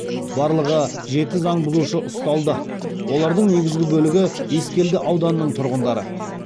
барлығы жеті заң бұзушы ұсталды олардың негізгі бөлігі ескелді ауданының тұрғындары